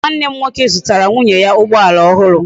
Nwa nne m nwoke zutara nwunye ya ugboala ohuru